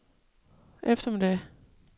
eftermiddag